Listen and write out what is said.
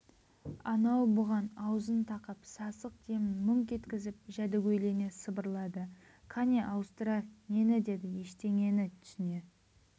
анау бұған аузын тақап сасық демін мүңк еткізіп жәдігөйлене сыбырлады қане ауыстырайық нені деді ештеңені түсіне